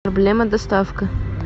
проблема доставка